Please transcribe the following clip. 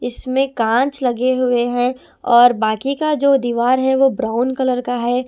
इसमें कांच लगे हुए हैं और बाकी जो दीवार है वो ब्राउन कलर का है।